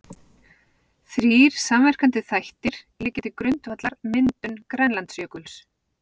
Þrír samverkandi þættir liggja til grundvallar myndun Grænlandsjökuls.